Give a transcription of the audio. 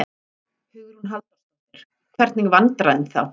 Hugrún Halldórsdóttir: Hvernig vandræðum þá?